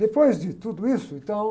Depois de tudo isso, então...